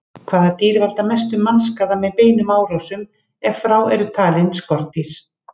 Hvaða dýr valda mestum mannskaða með beinum árásum, ef frá eru talin skordýr?